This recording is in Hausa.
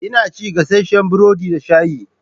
Ina cin gasasshen burodi da shayi.